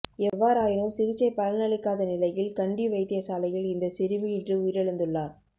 எவ்வாறாயினும் சிகிச்சை பலனளிக்காத நிலையில் கண்டி வைத்தியசாலையில் இந்த சிறுமி இன்று உயிரிழந்துள்ளார்